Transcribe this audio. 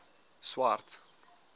swart